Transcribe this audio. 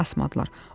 Qulaq asmadılar.